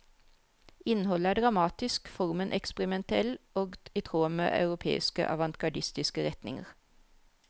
Innholdet er dramatisk, formen eksperimentell og i tråd med europeiske avantgardistiske retninger.